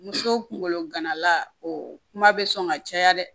Muso kunkolo gana o kuma bɛ sɔn ka caya dɛ